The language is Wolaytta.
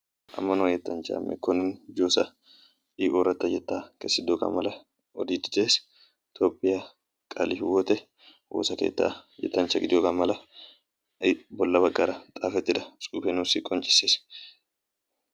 Yettanchchay ooratta yetta kessidooga odees. Qalehiwotte yettanchcha gidiyooga xuufe yootees.